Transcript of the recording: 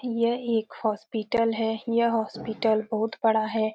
यह एक हॉस्पिटल है। यह हॉस्पिटल बहुत बड़ा है।